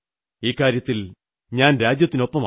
ഇക്കാര്യത്തിൽ ഞാൻ രാജ്യത്തിനൊപ്പമാണ്